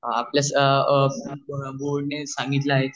आपल्या संपूर्ण बोर्ड ने सांगितले आहेच